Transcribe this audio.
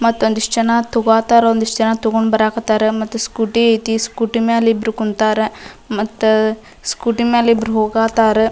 ಮತ್ತೊಂದು ಈಸ್ಟ್ ಜನ ತೋಗಹತಾರ ಒಂದಿಷ್ಟ್ ಜನ ತಗೊಂಡ್ ಬರಾಕ್ ಹತ್ತರ ಮತ್ತು ಸ್ಕೂಟಿ ಐತಿ ಸ್ಕೂಟಿ ಮೇಲೆ ಇಬ್ರು ಕುಂತರ ಸ್ಕೂಟಿ ಮೇಲೆ ಇಬ್ರು ಹೋಗ ಹತ್ತರ.